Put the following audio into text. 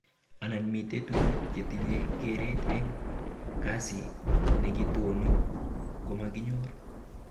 Anan mite tuguk chetinye keret eng kasi nekitoni komakinyor